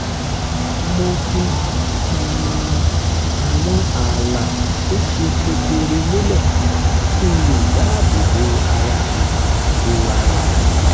mo fi um àwọn ààlà tó ṣe kedere lélẹ̀ kí n lè dáàbò bo ara mi bo ara mi